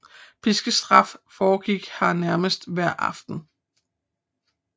Piskestraf foregik her nærmest hver aften